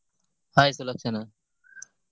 Hai Sulakshana.